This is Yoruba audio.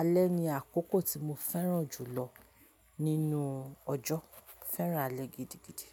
Alẹ́ ni àkókò tí mo fẹ́ràn jù lọ nínú ọjọ́. Mo fẹ́ràn alẹ́ gidigidi.